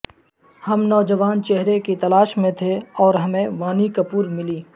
ہم نوجوان چہرے کی تلاش میں تھے اور ہمیں وانی کپور ملی